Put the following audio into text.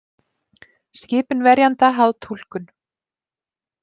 Skipun verjanda háð túlkun